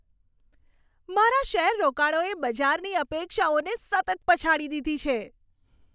મારા શેર રોકાણોએ બજારની અપેક્ષાઓને સતત પછાડી દીધી છે.